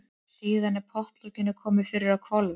Síðan er pottlokinu komið fyrir á hvolfi.